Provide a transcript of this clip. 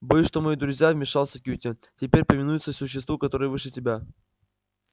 боюсь что мои друзья вмешался кьюти теперь повинуются существу которое выше тебя